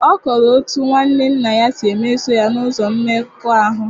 Ọ kọrọ otú nwanne nna ya si mesoo ya n’ụzọ mmekọahụ